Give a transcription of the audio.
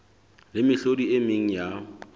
le mehlodi e meng ya